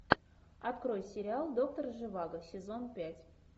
открой сериал доктор живаго сезон пять